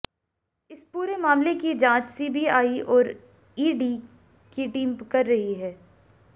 इस पूरे मामले की जांच सीबीआई और ईडी की टीम कर रही है